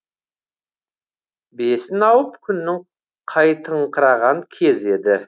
бесін ауып күннің қайтыңқыраған кезі еді